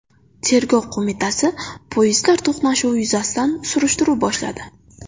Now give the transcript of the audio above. Tergov qo‘mitasi poyezdlar to‘qnashuvi yuzasidan surishtiruv boshladi.